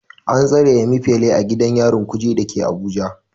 An tsare Emefile a gidan yarin Kuje da ke Abuja.